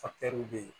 bɛ yen